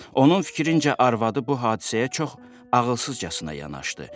Onun fikrincə arvadı bu hadisəyə çox ağılsızcasına yanaşdı.